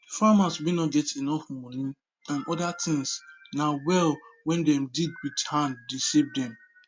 farmers wen nor get enough money and other things na well wen dem dig with hand dey save dem